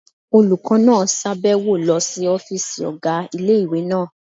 Olùkọ́ náà sàbẹ̀wo lọ sí ọ́fìsì ọ̀gá ilé-ìwé náà